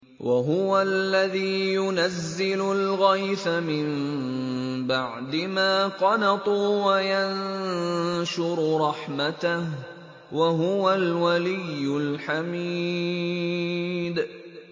وَهُوَ الَّذِي يُنَزِّلُ الْغَيْثَ مِن بَعْدِ مَا قَنَطُوا وَيَنشُرُ رَحْمَتَهُ ۚ وَهُوَ الْوَلِيُّ الْحَمِيدُ